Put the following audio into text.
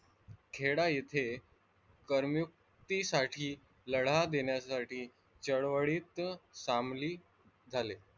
खेडा येथे करमुक्ती साठी लढा देण्यासाठी चळवळीत सामील झाले.